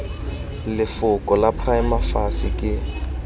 lefoko la prima facie ke